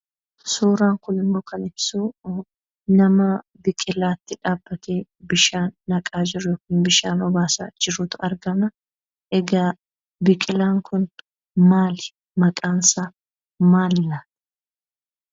Suuraan kun immoo kan ibsu nama biqilaatti dhaabbatee bishaan naqaa jiru, bishaan obaasaa jirutu argama. Egaa biqilaan kun maali? Maqaansaa maalidha?